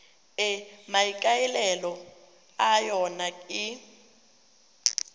e maikaelelo a yona e